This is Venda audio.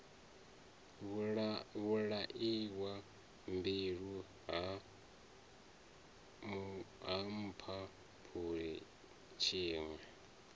vhulaiwa mbilwi ha mphaphuli tshiṋwe